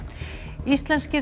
íslenskir